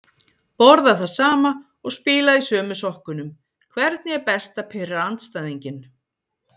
Borða það sama og spila í sömu sokkunum Hvernig er best að pirra andstæðinginn?